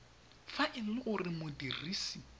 fa e le gore modirisi